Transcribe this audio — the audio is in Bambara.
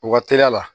U ka teriya la